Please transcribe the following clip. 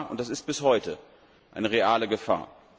Das war und das ist bis heute eine reale Gefahr.